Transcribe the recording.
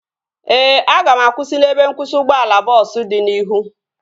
Ee, aga m akwụsị n'ebe nkwụsị ụgbọala bọọsu dị n'ihu